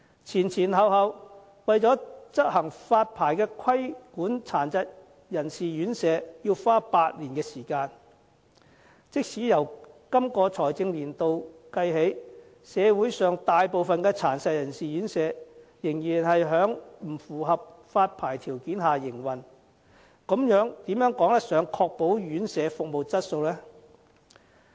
前前後後，為了執行發牌規管殘疾人士院舍，便要花8年時間，即使由今個財政年度起計算，社會上大部分殘疾人士院舍仍然是在不符合發牌條件下營運，這如何可以確保院舍服務質素呢？